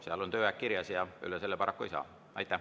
Seal on tööaeg kirjas ja sellest üle minna paraku ei saa.